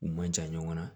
U man jan ɲɔgɔn na